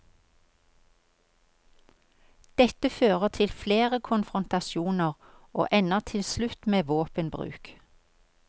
Dette fører til flere konfrontasjoner og ender til slutt med våpenbruk.